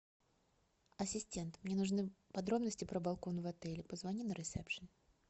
ассистент мне нужны подробности про балкон в отеле позвони на ресепшн